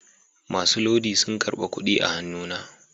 Masu lodi sun karba kudi a hannuna